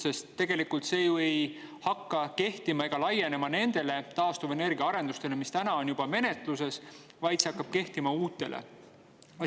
Sest tegelikult ei hakka see ju kehtima ega laienema nendele taastuvenergiaarendustele, mis täna on juba menetluses, vaid see hakkab kehtima uutele.